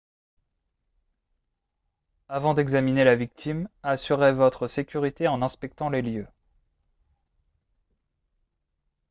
avant d'examiner la victime assurez-votre sécurité en inspectant les lieux